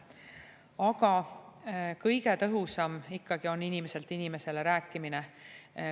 Aga kõige tõhusam ikkagi on inimeselt inimesele rääkimine.